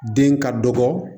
Den ka dɔgɔ